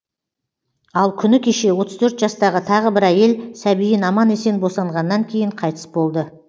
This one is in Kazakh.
ал күні кеше отыз төрт жастағы тағы бір әйел сәбиін аман есен босанғаннан кейін қайтыс болды